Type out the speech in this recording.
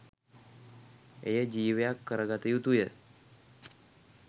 එය ජීවයක් කරගත යුතුය.